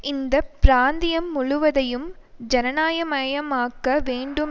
இந்த பிராந்தியம் முழுவதையும் ஜனநாயகமயமாக்க வேண்டும்